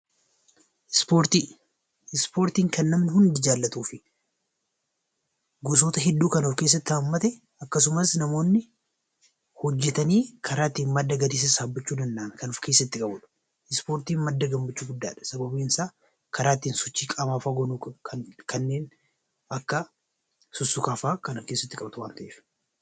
Ispoortiin kan namani Hundi jaallatuufi gosoota hedduu kan of keessatti hammate akkasumas hojjetanii karaa ittiin madda galii sassaaban ispoortiin madda gammachuu guddaadha